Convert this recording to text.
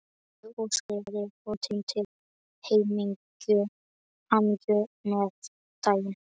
Ég óskaði honum til hamingju með daginn.